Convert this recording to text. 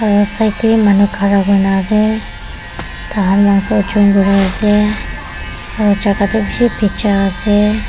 aro side tae manu khara kurina ase kuriase aro jaka toh bishi bija ase.